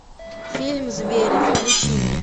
фильм звери включи мне